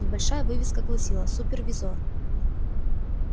небольшая вывеска гласила супервизор